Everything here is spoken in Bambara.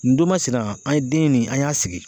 N don masina an ye den nin an y'a sigi